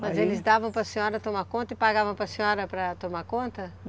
Mas eles davam para senhora tomar conta e pagavam para senhora para tomar conta?